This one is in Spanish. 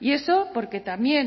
y eso porque también